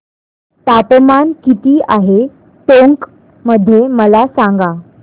तापमान किती आहे टोंक मध्ये मला सांगा